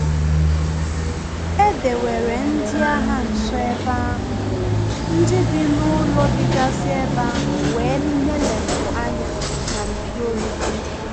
Edewere ndị agha nso ebe ahu, ndị bi n’ụlọ digasi ebe ahu wee neelepu anya n’ npio olu ha.